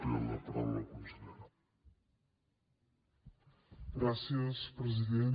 gràcies president